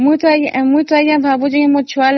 ମୁଁ ତ ଭାବୁଛି ମୋ ଛୁଆ ପାଇଁ